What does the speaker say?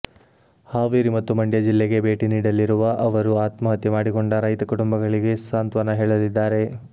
ಹಾವೇರಿ ಮತ್ತು ಮಂಡ್ಯ ಜಿಲ್ಲೆಗೆ ಭೇಟಿ ನೀಡಲಿರುವ ಅವರು ಆತ್ಮಹತ್ಯೆ ಮಾಡಿಕೊಂಡ ರೈತ ಕುಟುಂಬಗಳಿಗೆ ಸಾಂತ್ವನ ಹೇಳಲಿದ್ದಾರೆ